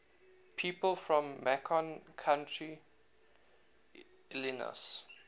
people from macon county illinois